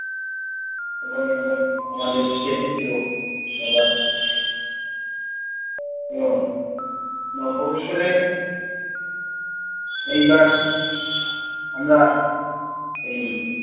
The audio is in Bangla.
এবার আমাদের কেটেছেও এবার উহ নববৎসরে এইবার আমরা এই